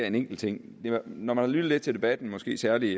en enkelt ting når man sådan har lyttet lidt til debatten måske særlig